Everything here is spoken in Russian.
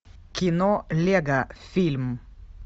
кино лего фильм